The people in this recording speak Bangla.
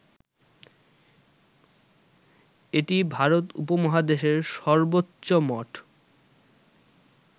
এটি ভারত উপমহাদেশের সর্বোচ্চ মঠ